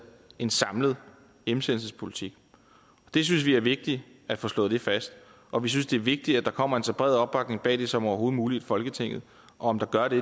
en samlet hjemsendelsespolitik det synes vi er vigtigt at få slået fast og vi synes det er vigtigt at der kommer en så bred opbakning bag det som overhovedet muligt i folketinget om der gør det